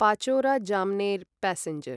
Pachora Jamner passenger